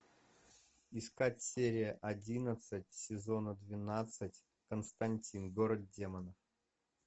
искать серия одиннадцать сезона двенадцать константин город демонов